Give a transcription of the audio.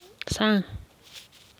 Sang.